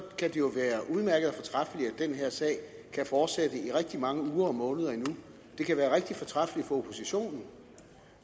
den her sag kan fortsætte i rigtig mange uger og måneder endnu det kan være rigtig fortræffeligt for oppositionen